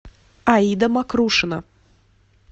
аида макрушина